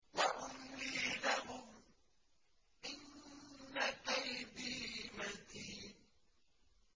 وَأُمْلِي لَهُمْ ۚ إِنَّ كَيْدِي مَتِينٌ